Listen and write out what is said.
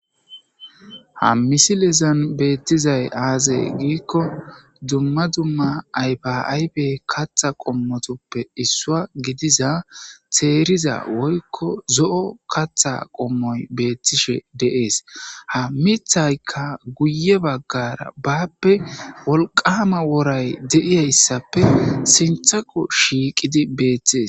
ha misilezan beettizay aazay giikko dumma dumma aypaaybe katha qommotoppe issua gidiza teeriza woykko zo7o katha qommoy beettishe deees ha mithaykka guye baggara baappe wolqama woray deiyayssappe sinthaqo shiiqidi beeththees